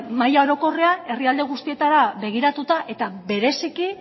mahai orokorrean herrialde guztietara begiratuta eta bereziki